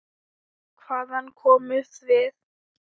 Hvaðan komum við?